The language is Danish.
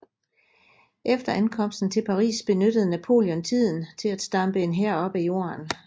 Efter ankomsten til Paris benyttede Napoleon tiden til at stampe en hær op af jorden